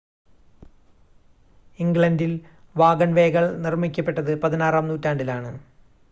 ഇംഗ്ലണ്ടിൽ വാഗൺവേകൾ നിർമ്മിക്കപ്പെട്ടത് പതിനാറാം നൂറ്റാണ്ടിലാണ്